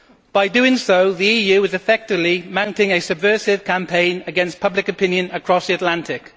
By doing so, the EU is effectively mounting a subversive campaign against public opinion across the Atlantic.